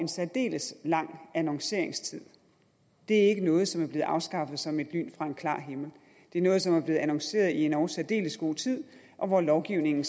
særdeles lang annonceringstid det er ikke noget som er blevet afskaffet som et lyn fra en klar himmel det er noget som er blevet annonceret i en endog særdeles god tid og lovgivningen